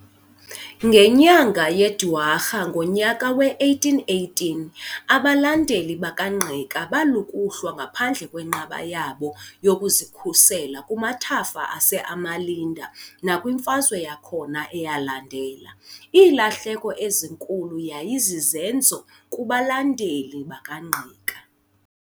Ngenyanga yeDwarha ngonyaka we-1818 abalandeli bakaNgqika balukuhlwa ngaphandle kwenqaba yabo yokuzikhusela kumathafa aseAmalinde nakwimfazwe yakhona eyalandela, iilahleko ezinkulu yayi zizenzo kubalandeli bakaNgqika.